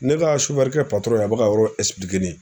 Ne ka kɛ a bɛ ka yɔrɔ ne ye